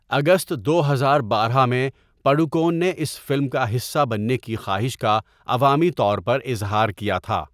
اگست دو ہزار بارہ میں، پڈوکون نے اس فلم کا حصہ بننے کی خواہش کا عوامی طور پر اظہار کیا تھا۔